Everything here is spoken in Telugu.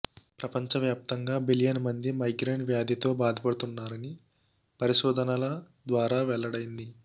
ప్రపంచ వ్యాప్తంగా బిలియన్ మంది మైగ్రేన్ వ్యాధితో బాధపడుతున్నారని పరిశోధనల ద్వారా వెల్లడైంది